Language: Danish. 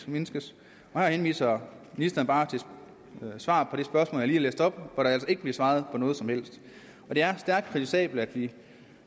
mindskes her henviser ministeren bare til svaret på det spørgsmål jeg læst op hvor der altså ikke bliver svaret på noget som helst det er stærkt kritisabelt at vi